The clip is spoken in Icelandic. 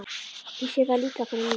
Ég sé þær líka fyrir mér.